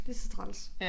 Det så træls